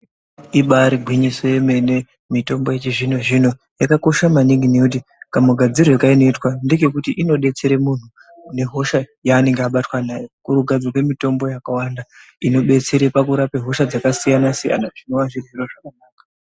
Ibaari gwinyiso yemene. Mitombo yechizvino zvino yakakosha maningi nokuti kamugadzirirwo kainoitwa ndekekuti inodetsera muntu nehosha yaanenge abatwa nayo. Kuri kugadzirwa mitombo yakawanda inobetsere pakurape hosha dzakasiyana siyana, zvinova zviro zvakanaka.